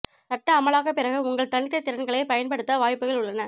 சட்ட அமலாக்க பிறகு உங்கள் தனித்த திறன்களை பயன்படுத்த வாய்ப்புகள் உள்ளன